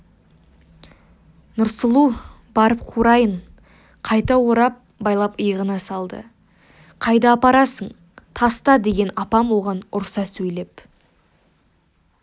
нұрсұлу барып қурайын қайта орап байлап иығына салды қайда апарасың таста деген апам оған ұрса сөйлеп